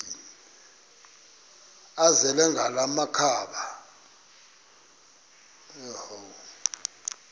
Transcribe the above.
azele ngala makhaba